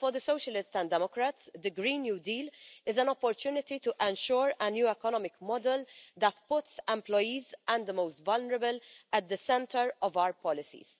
For the Socialists and Democrats, the Green New Deal is an opportunity to ensure a new economic model that puts employees and the most vulnerable people at the centre of our policies.